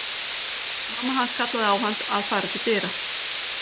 Mamma hans kallaði á hann að fara til dyra.